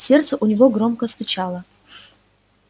сердце у него громко стучало